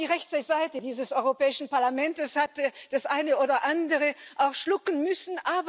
Auch die rechte Seite dieses Europäischen Parlaments hat das eine oder andere schlucken müssen.